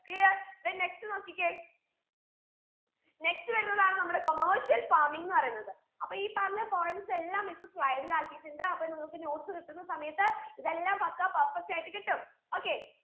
clear then next നോക്കിക്കേ next വരുന്നതാണ് നമ്മുടെ commercial farming ന്ന് പറയുന്നത് അപ്പൊ ഈ പറഞ്ഞ points എല്ലാം miss slide ൽ ആക്കീട്ടുണ്ട് അപ്പൊ നിങ്ങൾക്ക് notes കിട്ടുന്ന സമയത്ത് ഇതെല്ലാം പക്കാ perfect ആയിട്ട് കിട്ടും okay